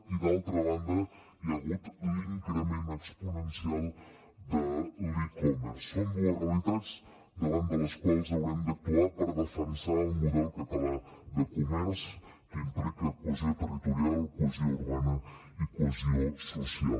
i d’altra banda hi ha hagut l’increment exponencial de l’de les quals haurem d’actuar per defensar el model català de comerç que implica cohesió territorial cohesió urbana i cohesió social